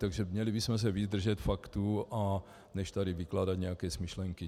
Takže měli bychom se víc držet faktů než tady vykládat nějaké smyšlenky.